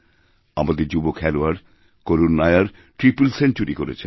আমাদের যুবখেলোয়াড় Karun Nair triple century করেছেন